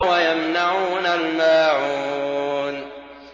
وَيَمْنَعُونَ الْمَاعُونَ